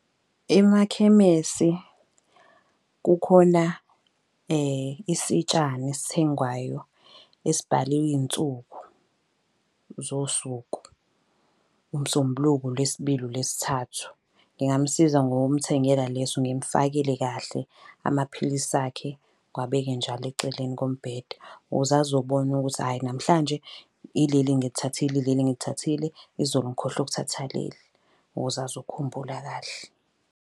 Emakhemesi kukhona isitshana esithengwayo esibhaliwe iy'nsuku zosuku. UMsombuluko, uLwesibili, uLwesithathu. Ngingamusiza ngokumthengela leso ngimufakele kahle amaphilisi akhe, ngiwabeke njalo eceleni kombhede. Ukuze azobona ukuthi hhayi namhlanje ileli ngilithathile ileli ngilithathile, izolo ngikhohlwe ukuthatha leli ukuze azokhumbula kahle.